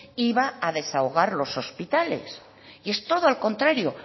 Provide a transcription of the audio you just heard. iba a desahogar los hospitales y es todo al contrario